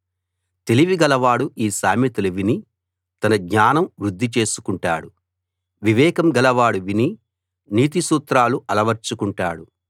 తెలివి గలవాడు ఈ సామెతలు విని తన జ్ఞానం వృద్ధి చేసుకుంటాడు వివేకం గలవాడు విని నీతి సూత్రాలు అలవర్చుకుంటాడు